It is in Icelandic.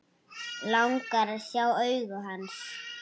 Langar að sjá augu hans.